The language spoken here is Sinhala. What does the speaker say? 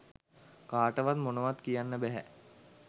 කාටවත් මොනවත් කියන්න බැහැ.